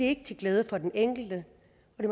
ikke til glæde for den enkelte